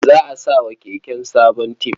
Za a sa wa keken sabon tib.